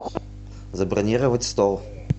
забронировать стол